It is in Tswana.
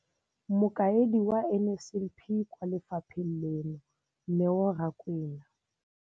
Mokaedi wa NSNP kwa lefapheng leno, Neo Rakwena.